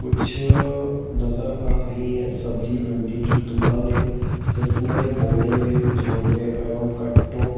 कुछ नजर आ रही हैं सब्जी मंडी की दुकानें जिसमें बोरे झोले एवं कट्टों--